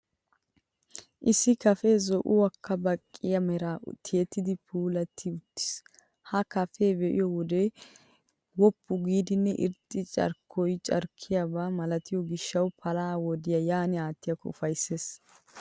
Issi kaafee zo'uwaakko baqqiya meraa tiyettidi puulatti uttiis. Ha kaafiyaa be'iyo wode woppu giidanne irxxiya carkkoy carkkiyaabaa malatiyoo gishshawu palaha wodiyaa yaan aattiyaakko ufayssees.